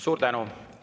Suur tänu!